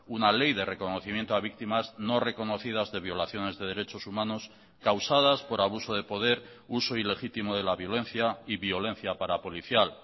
una ley de reconocimiento a víctimas no reconocidas de violaciones de derechos humanos causadas por abuso de poder uso ilegítimo de la violencia y violencia parapolicial